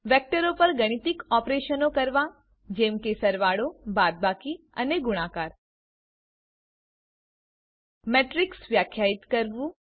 વેક્ટરો પર ગાણિતિક ઓપરેશનો કરવા જેમ કે સરવાળો બાદબાકી અને ગુણાકાર મેટ્રીક્સ વ્યાખ્યાયિત કરવું